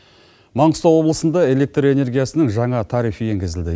маңғыстау облысында электр энергиясының жаңа тарихы енгізілді